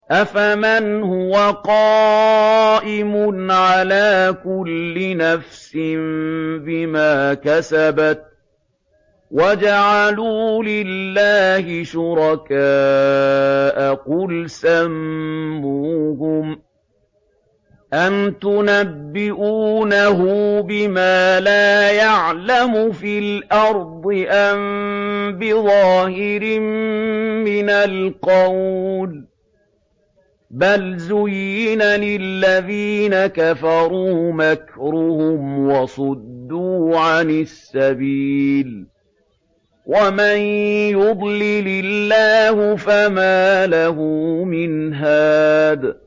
أَفَمَنْ هُوَ قَائِمٌ عَلَىٰ كُلِّ نَفْسٍ بِمَا كَسَبَتْ ۗ وَجَعَلُوا لِلَّهِ شُرَكَاءَ قُلْ سَمُّوهُمْ ۚ أَمْ تُنَبِّئُونَهُ بِمَا لَا يَعْلَمُ فِي الْأَرْضِ أَم بِظَاهِرٍ مِّنَ الْقَوْلِ ۗ بَلْ زُيِّنَ لِلَّذِينَ كَفَرُوا مَكْرُهُمْ وَصُدُّوا عَنِ السَّبِيلِ ۗ وَمَن يُضْلِلِ اللَّهُ فَمَا لَهُ مِنْ هَادٍ